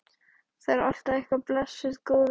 Það er alltaf eitthvað, blessuð góða.